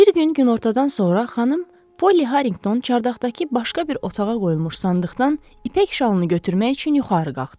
Bir gün günortadan sonra xanım Polly Harrington çardaqdakı başqa bir otağa qoyulmuş sandıqdan ipək şalını götürmək üçün yuxarı qalxdı.